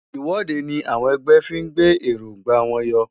Ìwọ́de ni àwọn ẹgbẹ́ fí ń gbé èróńgbà wọn yọ.